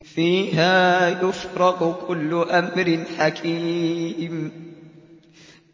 فِيهَا يُفْرَقُ كُلُّ أَمْرٍ حَكِيمٍ